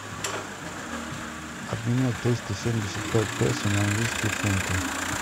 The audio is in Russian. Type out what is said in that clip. обменять триста семьдесят пять песо на английские фунты